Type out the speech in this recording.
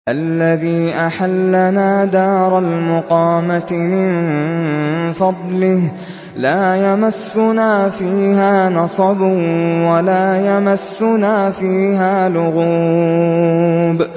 الَّذِي أَحَلَّنَا دَارَ الْمُقَامَةِ مِن فَضْلِهِ لَا يَمَسُّنَا فِيهَا نَصَبٌ وَلَا يَمَسُّنَا فِيهَا لُغُوبٌ